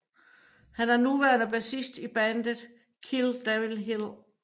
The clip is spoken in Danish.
Han er nuværende bassist i bandet Kill Devil Hill